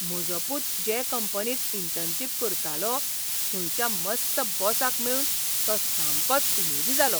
म्हजो पूत जे कंपनींत इंटर्नशीप करतालो थंयच्या मस्त बॉसाक मेळून तो सामकोच उमेदी जालो.